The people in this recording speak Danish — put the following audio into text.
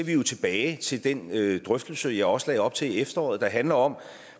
jo tilbage til den drøftelse jeg også lagde op til i efteråret der handler om